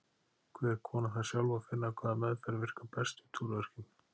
Hver kona þarf sjálf að finna hvaða meðferð virkar best við túrverkjum.